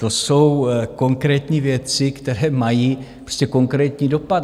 To jsou konkrétní věci, které mají prostě konkrétní dopad.